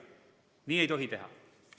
Nii ei tohi teha.